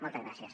moltes gràcies